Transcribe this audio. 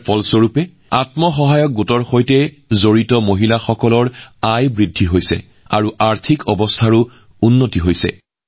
ইয়াৰ বাবেই আত্মসহায়ক গোটৰ সৈতে জড়িত এই মহিলাসকলৰ আয় বৃদ্ধি পাইছে আৰু তেওঁলোকৰ আৰ্থিক অৱস্থাও উন্নত হৈছে